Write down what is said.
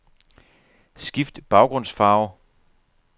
Skift baggrundsfarve.